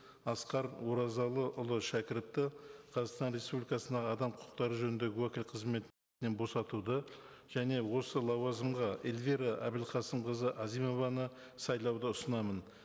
асқар оразалыұлы шәкіровті қазақстан республикасының адам құқықтары жөніндегі уәкіл босатуды және осы лауазымға эльвира әбілқасымқызы әзімованы сайлауды ұсынамын